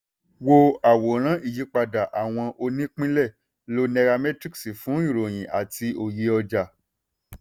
wo àwòrán ìyípadà àwọn onípínlẹ̀; lo nairametrics fún ìròyìn àti òye ọjà.